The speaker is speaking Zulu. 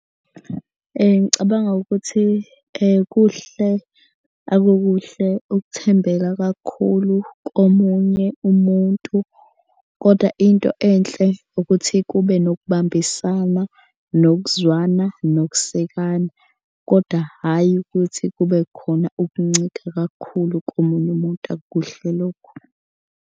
Ngicabanga ukuthi kuhle akukuhle ukuthembela kakhulu komunye umuntu, kodwa into enhle ukuthi kube nokubambisana nokuzwana nokusekana. Kodwa hhayi ukuthi kube khona ukuncika kakhulu komunye umuntu akukuhle lokho.